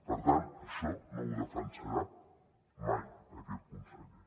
per tant això no ho defensarà mai aquest conseller